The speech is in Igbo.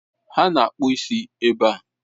Ha na akpụ isi ebe a.